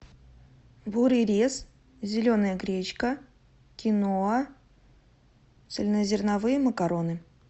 бурый рис зеленая гречка киноа цельнозерновые макароны